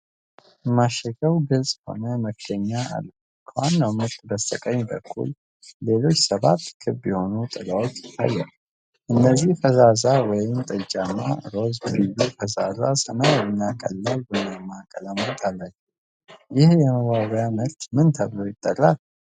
ማሸጊያው ግልጽ የሆነ መክደኛ አለው። ከዋናው ምርት በስተቀኝ በኩል፣ ሌሎች ሰባት ክብ የሆኑ ጥላዎች ይታያሉ፤ እነዚህም ፈዛዛ ወይንጠጃማ፣ ሮዝ፣ ቢዩ፣ ፈዛዛ ሰማያዊ እና ቀላል ቡናማ ቀለማት አላቸው። ይህ የመዋቢያ ምርት ምን ተብሎ ይጠራል?